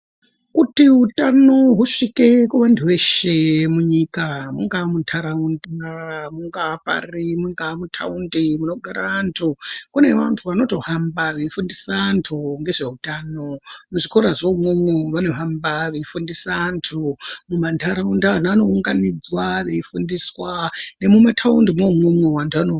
Kuti utano husvike kuvantu veshe munyika mungaa muntaraunda, mungaa pari, mungaa mutaundi munogara antu, kune vantu vanotohamba veifundisa vantu ngezveutano. Muzvikorazve imwomwo vanohamba veifundisa antu. Mumantataunda vana vanounganidzwa veifundiswa, nemutaundi imwomwomwo vantu vano...